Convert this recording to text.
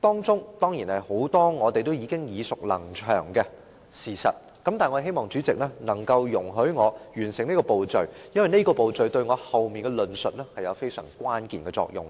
當中涉及很多我們已耳熟能詳的事實，但我希望主席能容許我完成這個步驟，因為這個步驟對我後面的論述有極關鍵的作用。